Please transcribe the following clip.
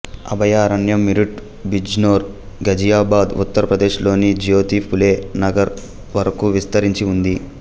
అభయారణ్యం మీరుట్ బిజ్నోర్ ఘజియాబాద్ ఉత్తర్ ప్రదేశ్ లోని జ్యోతీ ఫులే నగర్ వరకు విస్తరించి ఉంది